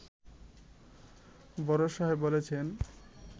বড় সাহেব বলেছেন